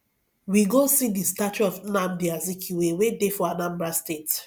we go see the statue of nnamdi azikiwe wey dey for anambra state